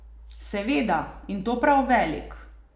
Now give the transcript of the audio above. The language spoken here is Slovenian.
Seveda, in to prav velik.